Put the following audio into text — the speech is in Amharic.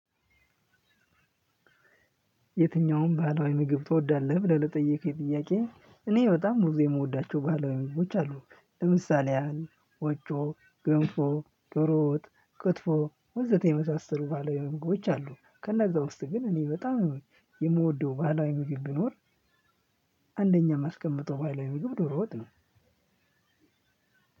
የትኛውም ባህላዊ ምግብ ትወዳለህ ብለህ ለጠየቀኝ ጥያቄ እኔ በጣም ብዙ የምወዳቸው ባለሙያዎች አሉ። ለምሳሌ ያህል ቆጮ ገንፎ ዶሮ ወጥ ክትፎ ወዘተ የመሳሰሉ ባህላዊ ምግቦች አሉ። ከእነዛ ውስጥ ግን እኔ በጣም የምወደው ባህላዊ ምግብ ቢኖር። አንደኛ ማስቀመጠው ባላዊ ምግብ ዶሮ ወጥ ነው።